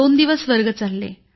दोन दिवस वर्ग चालले